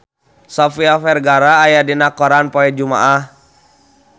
Sofia Vergara aya dina koran poe Jumaah